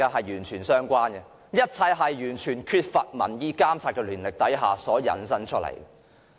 一切都是源於完全缺乏民意監察的權力而來。